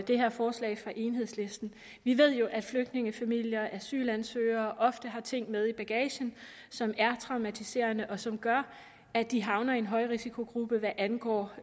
det her forslag fra enhedslisten vi ved jo at flygtningefamilier asylansøgere ofte har ting med i bagagen som er traumatiserende og som gør at de havner i en højrisikogruppe hvad angår